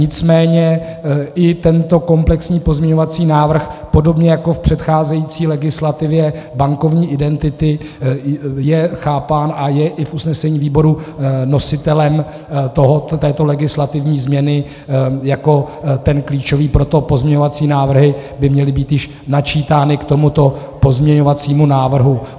Nicméně i tento komplexní pozměňovací návrh podobně jako v předcházející legislativě bankovní identity je chápán a je i v usnesení výboru nositelem této legislativní změny jako ten klíčový, proto pozměňovací návrhy by měly být již načítány k tomuto pozměňovacímu návrhu.